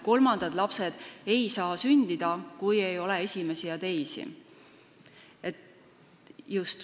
Kolmandad lapsed ei saa sündida, kui ei ole esimesi ja teisi.